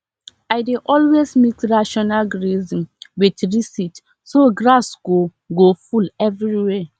i dey always mix rotational grazing with reseed so grass go go full everywhere